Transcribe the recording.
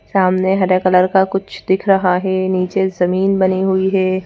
सामने हरे कलर का कुछ दिख रहा है नीचे जमीन बनी हुई है।